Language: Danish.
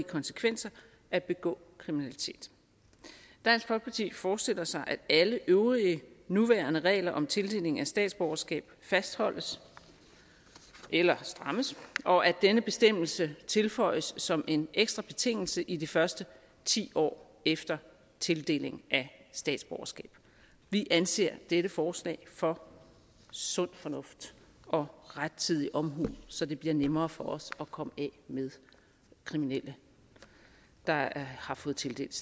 konsekvenser at begå kriminalitet dansk folkeparti forestiller sig at alle øvrige nuværende regler om tildeling af statsborgerskab fastholdes eller strammes og at denne bestemmelse tilføjes som en ekstra betingelse i de første ti år efter tildeling af statsborgerskab vi anser dette forslag for sund fornuft og rettidig omhu så det bliver nemmere for os at komme af med kriminelle der har fået tildelt